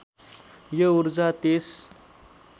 यो ऊर्जा त्यस